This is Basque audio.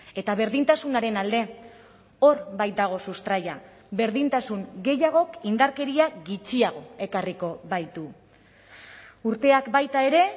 eta berdintasunaren alde hor baitago sustraia berdintasun gehiagok indarkeria gutxiago ekarriko baitu urteak baita ere